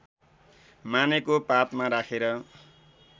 मानेको पातमा राखेर